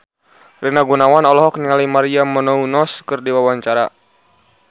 Rina Gunawan olohok ningali Maria Menounos keur diwawancara